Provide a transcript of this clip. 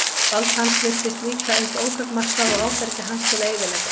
Vald hans virtist líka eins ótakmarkað og áfergja hans til að eyðileggja.